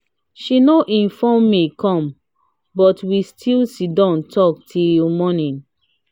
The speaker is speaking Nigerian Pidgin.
she no inform me come but we still sitdon talk till morning.